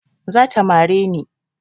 Zata mare ni